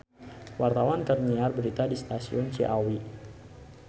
Wartawan keur nyiar berita di Stasiun Ciawi